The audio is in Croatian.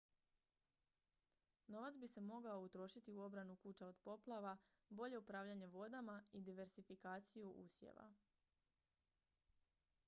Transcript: novac bi se mogao utrošiti u obranu kuća od poplava bolje upravljanje vodama i diversifikaciju usjeva